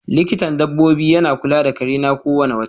Likintan dabobi yana kula da kare na ko wane wota.